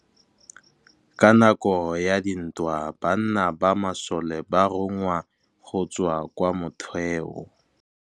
Ka nakô ya dintwa banna ba masole ba rongwa go tswa kwa mothêô.